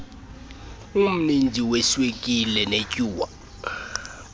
omninzi weswekile netyuwa